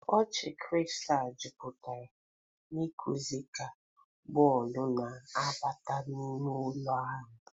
Ọchị kristal jupụtara n'ikuku ka bọọlụ na-abata n'ime ụlọ ahụ.